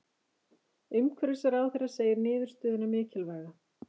Umhverfisráðherra segir niðurstöðuna mikilvæga